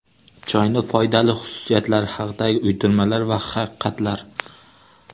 Choyning foydali xususiyatlari haqidagi uydirmalar va haqiqatlar.